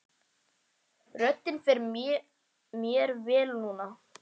Röddin fer mér vel núna.